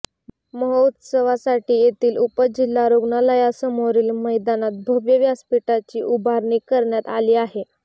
महोत्सवासाठी येथील उपजिल्हा रुग्णालयासमोरील मैदानात भव्य व्यासपिठाची उभारणी करण्यात आली आहे